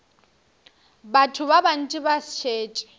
batho ba bantši ba šetše